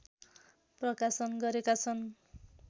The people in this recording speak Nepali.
प्रकाशन गरेका छन्